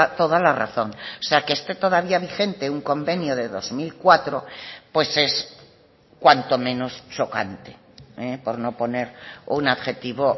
toda la razón o sea que esté todavía vigente un convenio de dos mil cuatro pues es cuanto menos chocante por no poner un adjetivo